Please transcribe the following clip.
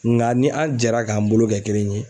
Ŋa ni an jɛra k'an bolo kɛ kelen ye